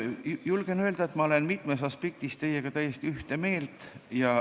Julgen öelda, et ma olen mitmes aspektis teiega täiesti ühte meelt.